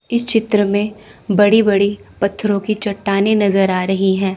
इस चित्र में बड़ी बड़ी पत्थरों की चट्टाने नजर आ रही हैं।